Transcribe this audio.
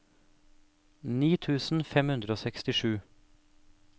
ni tusen fem hundre og sekstisju